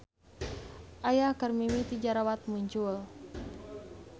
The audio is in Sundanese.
Aya keur mimiti jarawat muncul.